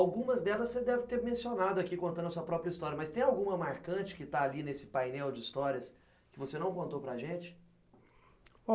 Algumas delas você deve ter mencionado aqui contando a sua própria história, mas tem alguma marcante que está ali nesse painel de histórias que você não contou para gente?